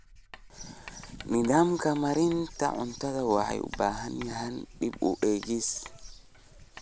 Nidaamka maareynta cunnada wuxuu u baahan yahay dib u eegis.